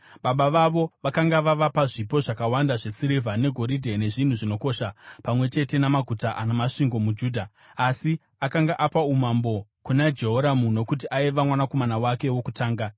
Baba vavo vakanga vavapa zvipo zvakawanda zvesirivha negoridhe nezvinhu zvinokosha pamwe chete namaguta ana masvingo muJudha, asi akanga apa umambo kuna Jehoramu nokuti aiva mwanakomana wake wokutanga.